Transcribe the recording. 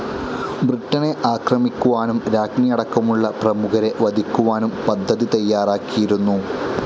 ബ്രിട്ടനെ ആക്രമിക്കുവാനും രാജ്ഞിയടക്കമുള്ള പ്രമുഖരെ വധിക്കുവാനും പദ്ധതി തയ്യാറാക്കിയിരുന്നു.